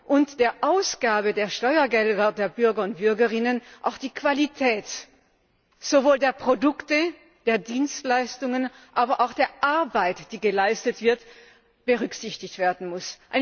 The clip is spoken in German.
und der Ausgabe der Steuergelder der Bürger und Bürgerinnen auch die Qualität sowohl der Produkte und Dienstleistungen als auch der Arbeit, die geleistet wird, berücksichtigt werden muss.